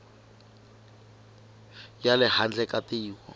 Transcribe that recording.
ya le handle ka tiko